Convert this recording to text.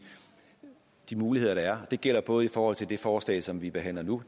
de muligheder der er det gælder både i forhold til det forslag som vi behandler nu